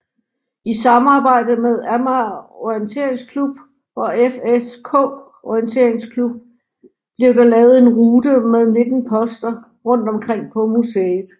I samarbejde med Amager Orienteringsklub og FSK Orienteringsklub blev der lavet en rute med 19 poster rundt om på museet